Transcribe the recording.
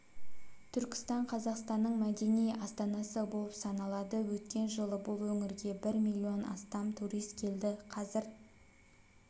түркістан қазақстанның мәдени астанасы болып саналады өткен жылы бұл өңірге бір миллионнан астам турист келді қазір